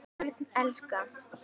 Börn elska.